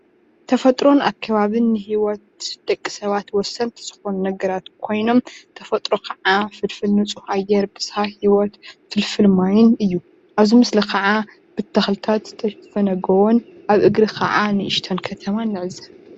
ተፈጥሮን ኣከባቢን ሂወት ደቂ ሰባት ወሰንቲ ዝኮኑ ነገራት ኮይኖም ተፈጥሮ ከዓ ፍልፍል ንፁህ ኣየር መፃኢይ ሂወት ፍልፍል ማይን እዩ፡፡ ኣብዚ ምስሊ ከዓ ብተክልታት ዝተሸፈነ ጎቦን ኣብ እግሪ ከዓ ንእሽተይ ከተማን ንዕዘብ፡፡